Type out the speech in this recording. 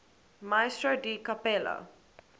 maestro di cappella